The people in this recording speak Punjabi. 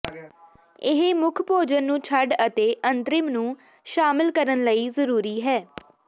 ਇਹ ਮੁੱਖ ਭੋਜਨ ਨੂੰ ਛੱਡ ਅਤੇ ਅੰਤਰਿਮ ਨੂੰ ਸ਼ਾਮਿਲ ਕਰਨ ਲਈ ਜ਼ਰੂਰੀ ਹੈ